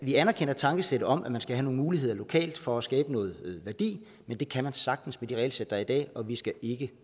vi anerkender tankesættet om at man skal have nogle muligheder lokalt for at skabe noget værdi men det kan man sagtens med det regelsæt der er i dag og vi skal ikke